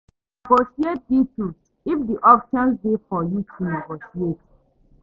Negotiate deals if di option dey for you to negotiate